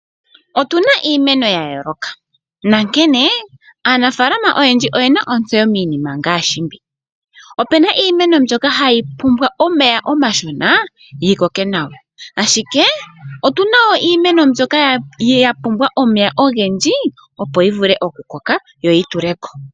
Otuna iimeno ya yooloka nonkene aanafalama oyendji oyena ontseyo miinima ngaashi mbi opuna iimeno mbyoka hayi pumbwa omeya omashona yi koke nawa ashike otuna iimeno mbyoka ya pumbwa omeya ogendji opo yi vule okukoka yo yi tuleko.